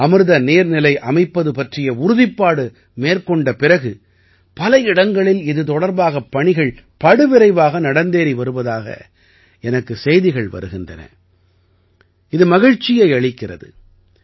அமிர்ந்த நீர்நிலை அமைப்பது பற்றிய உறுதிப்பாடு மேற்கொண்ட பிறகு பல இடங்களில் இது தொடர்பாகப் பணிகள் படுவிரைவாக நடந்தேறி வருவதாக எனக்குச் செய்திகள் வருகின்றன இது மகிழ்ச்சியை அளிக்கிறது